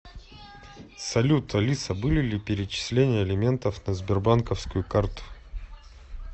салют алиса были ли перечисления алиментов на сбербанковскую карту